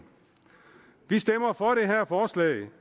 vi stemmer for det her forslag